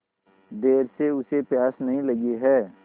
देर से उसे प्यास नहीं लगी हैं